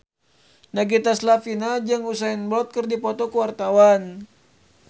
Nagita Slavina jeung Usain Bolt keur dipoto ku wartawan